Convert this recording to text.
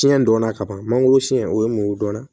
Siɲɛ dɔnna ka ban mangoro sɛn o ye mun dɔnna